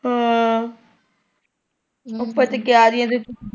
ਹਮ ਉਦਾਂ ਤੇ ਕਿਆਰੀਆਂ ਵਿੱਚ।